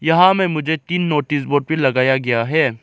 यहां में मुझे तीन नोटिस बोर्ड भी लगाया गया है।